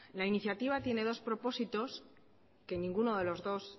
la iniciativa tiene dos propósitos que ninguno de los dos